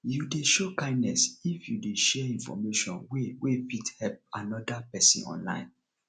you de show kindness if you de share information wey wey fit help another persin online